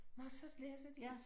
Nåh så læser de